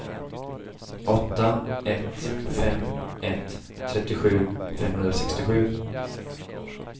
åtta ett fem ett trettiosju femhundrasextiosju